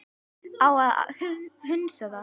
Á að hunsa það?